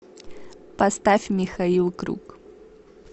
поставь михаил круг